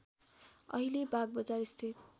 अहिले बागबजार स्थित